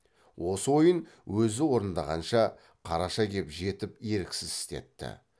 осы ойын өзі орындағанша қараша кеп жетіп еріксіз істетті